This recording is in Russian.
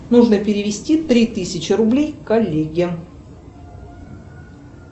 нужно перевести три тысячи рублей коллеге